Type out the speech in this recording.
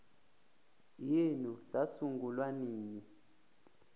yenu sasungulwa nini